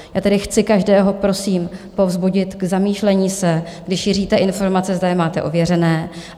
Já tedy chci každého prosím povzbudit k zamýšlení se - když šíříte informace, zda je máte ověřené.